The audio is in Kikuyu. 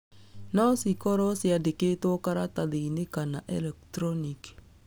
No cikoro ciandokĩtwo karatathinĩ kana erektroniki.